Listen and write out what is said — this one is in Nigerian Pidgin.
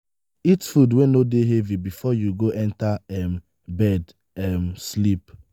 eat food wey no dey heavy before you go enter um bed um sleep